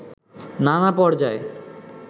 নানা পর্যায়